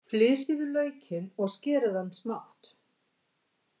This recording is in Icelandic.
Flysjið laukinn og skerið hann smátt.